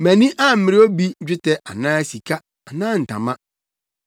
Mʼani ammere obi dwetɛ anaa sika anaa ntama.